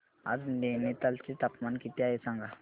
आज नैनीताल चे तापमान किती आहे सांगा